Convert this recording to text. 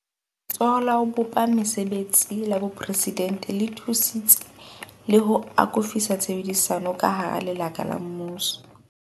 Letsholo la ho bopa Mese betsi la Boporesidente le thusitse le ho akofisa tshebedisano ka hara lekala la mmuso.